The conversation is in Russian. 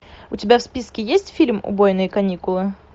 у тебя в списке есть фильм убойные каникулы